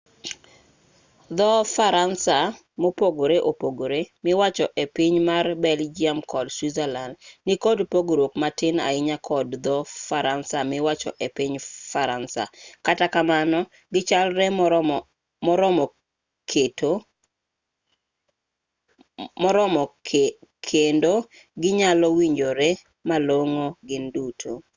dho-faransa mopogore opogore miwacho e piny mar belgium kod switzerland nikod pogruok matin ahinya kod dho-faransa miwacho e piny faransa kata kamano gichalre moromo kendo ginyalowinjore malong'o gin duto